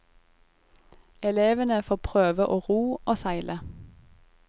Elevene får prøve å ro og seile.